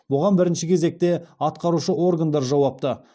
бұған бірінші кезекте атқарушы органдар жауапты